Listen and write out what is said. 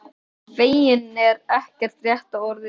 Feginn er ekki rétta orðið.